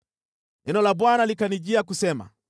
Neno la Bwana likanijia kusema: